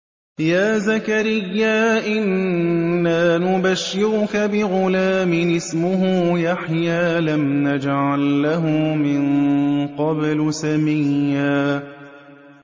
يَا زَكَرِيَّا إِنَّا نُبَشِّرُكَ بِغُلَامٍ اسْمُهُ يَحْيَىٰ لَمْ نَجْعَل لَّهُ مِن قَبْلُ سَمِيًّا